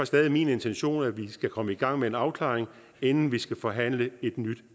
stadig min intention at vi skal komme i gang med en afklaring inden vi skal forhandle et nyt